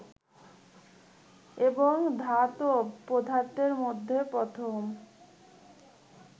এবং ধাতব পদার্থের মধ্যে প্রথম